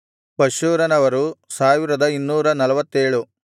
ಪಷ್ಹೂರನವರು 1247